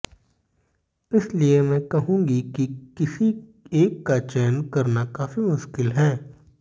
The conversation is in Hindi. इसलिए मैं कहूंगी कि किसी एक का चयन करना काफी मुश्किल है